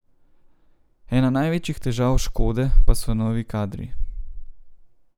Ena največjih težav Škode pa so novi kadri.